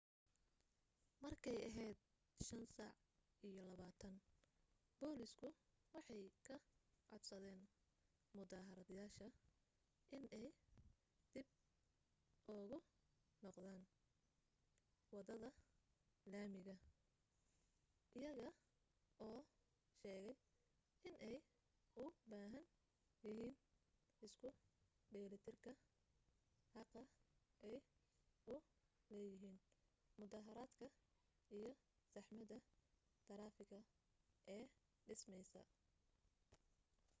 markay ahayd 11:20 booliisku waxay ka codsadeen mudaaharaadayaasha inay dib ugu noqdaan waddada laamiga iyaga oo sheegay inay u baahan yihiin isku dheelitiranka xaqa ay u leeyihin mudaaharadka iyo saxmadda taraafigga ee dhismaysa